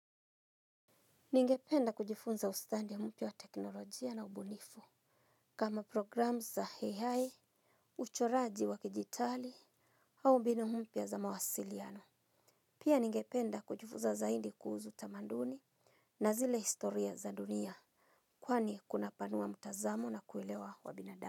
Ningependa kujifunza ustadi mpya wa teknolojia na ubunifu kama program za ai uchoraji wa kijitali au mbinu mpya za mawasiliano. Pia ningependa kujifunza zaidi kuhusu tamaduni na zile historia za dunia kwani kuna panua mtazamo na kuelewa kwa binadamu.